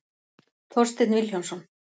Þorsteinn Vilhjálmsson.